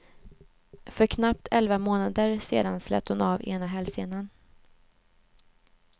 För knappt elva månader sen slet hon av ena hälsenan.